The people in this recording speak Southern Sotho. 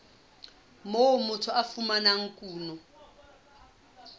moo motho a fumanang kuno